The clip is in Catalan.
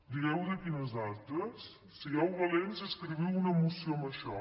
digueu de quines altres sigueu valents i escriviu una moció amb això